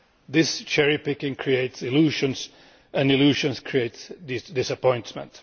This cherry picking creates illusions, and illusions create disappointment.